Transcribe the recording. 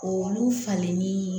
Olu falenni